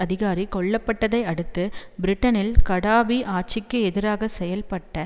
அதிகாரி கொல்ல பட்டதை அடுத்து பிரிட்டனில் கடாபி ஆட்சிக்கு எதிராக செயல்பட்ட